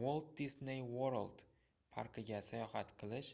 walt disney world parkiga sayohat qilish